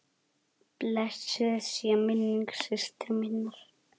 Blessuð sé minning systur minnar.